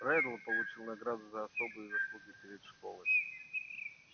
реддл получил награду за особые заслуги перед школой